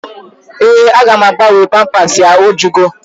Ee, aga m agabnwe pampasi ya. O jugo